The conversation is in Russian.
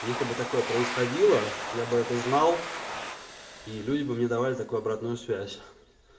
если бы такое происходило я бы это знал и люди бы мне давали такую обратную связь